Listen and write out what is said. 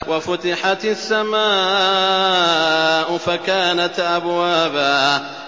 وَفُتِحَتِ السَّمَاءُ فَكَانَتْ أَبْوَابًا